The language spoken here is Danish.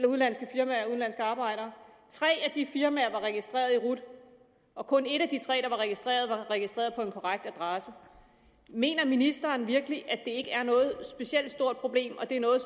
udenlandske firmaer og udenlandske arbejdere tre af de firmaer var registreret i rut og kun et af de tre der var registreret var registreret på en korrekt adresse mener ministeren virkelig at det ikke er noget specielt stort problem og at det er noget